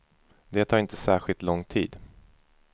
Det tar inte särskilt lång tid.